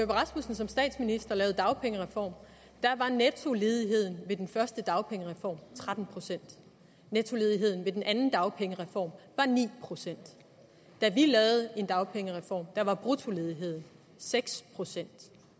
rasmussen som statsminister lavede en dagpengereform var nettoledigheden ved den første dagpengereform tretten procent nettoledigheden ved den anden dagpengereform var ni procent da vi lavede en dagpengereform var bruttoledigheden seks procent